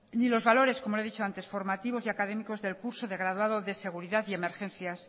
ni los valores como le he dicho antes formativos y académicos del curso de graduado de seguridad de emergencias